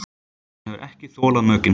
Hann hefur ekki þolað mökkinn.